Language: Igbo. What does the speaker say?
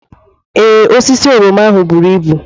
Ee, osisi oroma ahụ buru ibu.